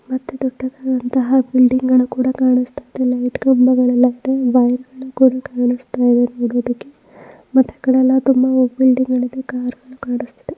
ಅತಿ ದೊಡ್ಡದಾದಂತಹ ಬಿಲ್ಡಿಂಗ್ಗಳು ಕೂಡ ಕಾಣುಸ್ತಯಿದೆ. ಲೈಟ್ ಕಂಬಗಳೆಲ್ಲ ತುಂಬಾ ಇದಾವೆ. ವೈರ್ ಗಳು ಕೂಡ ಕಾಣುಸ್ತಯಿದೆ ನೋಡೋದಿಕ್ಕೆ ಮತ್ತೆ ಆಕಡೆ ಎಲ್ಲ ತುಂಬಾ ಬಿಲ್ಡಿಂಗ್ ಗಳು ಇದೆ ಕಾರುಗಳು ಕಾಣುಸ್ತಿದೆ.